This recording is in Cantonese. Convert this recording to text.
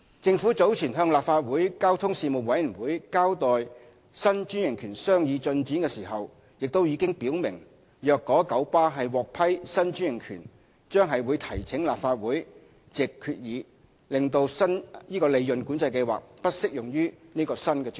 政府早前向立法會交通事務委員會交代新專營權的商議進展時，亦已表明若九巴獲批新專營權，將會提請立法會藉決議使利潤管制計劃不適用於該新專營權。